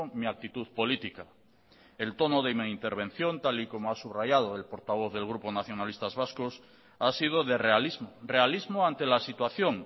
mi actitud política el tono de mi intervención tal y como ha subrayado el portavoz del grupo nacionalistas vascos ha sido de realismo realismo ante la situación